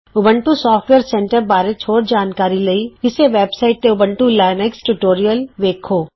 Ubuntu software centre ਬਾਰੇ ਹੋਰ ਜਾਣਕਾਰੀ ਲਈ ਇੱਸੇ ਵੇਬ ਸਾਈਟ ਤੇ ਊਬੰਤੂ ਲੀਨਕਸ ਟਯੂਟੋਰਿਅਲ ਵੇਖੋ